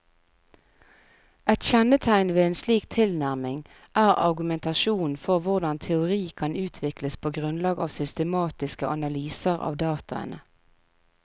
Et kjennetegn ved en slik tilnærming er argumentasjonen for hvordan teori kan utvikles på grunnlag av systematiske analyser av dataene.